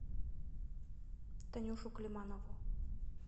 танюшу климанову